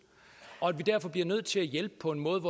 og at vi derfor bliver nødt til at hjælpe på en måde